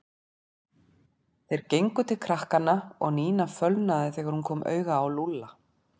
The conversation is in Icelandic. Þeir gengu til krakkanna og Nína fölnaði upp þegar hún kom auga á Lúlla.